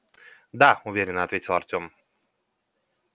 да уверенно ответил артём